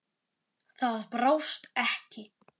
Það brást ekki.